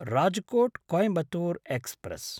Rajkot Coimbatore express